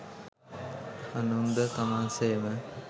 අනුන්ද තමන් සේම